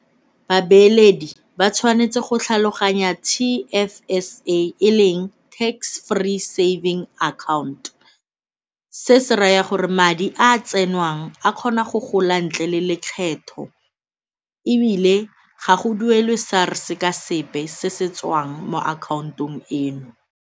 Babeeledi ba tshwanetse go tlhaloganya T_F_S_A e leng Tax Free Savings Account. Se se raya gore madi a tsenwang a kgona go gola ntle le lekgetho ebile ga go duelwe SARS-e ka sepe se se tswang mo akhaontong eno.